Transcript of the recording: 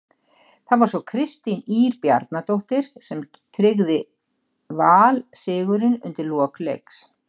Það var svo Kristín Ýr Bjarnadóttir sem tryggði Val sigurinn undir lok leiks.